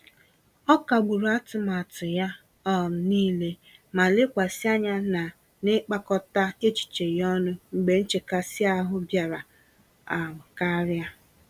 Ọ kagburu atụmatụ ya um nile, ma lekwasị anya na n'ịkpakọta echiche ya ọnụ mgbe nchekasị-ahụ bịara um karịa.